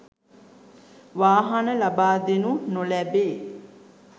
වාහන ලබාදෙනු නොලැබේ